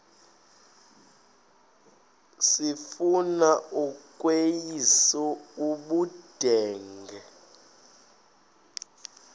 sifuna ukweyis ubudenge